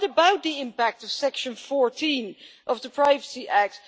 What about the impact of Section 14 of the Privacy Act?